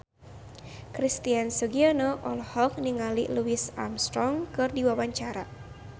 Christian Sugiono olohok ningali Louis Armstrong keur diwawancara